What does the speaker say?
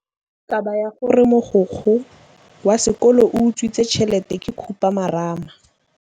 Taba ya gore mogokgo wa sekolo o utswitse tšhelete ke khupamarama.